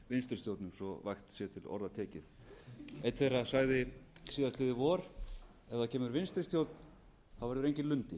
vinstri stjórnum svo vægt sé til orða tekið einn þeirra sagði síðastliðið vor ef það kemur vinstri stjórn verður enginn lundi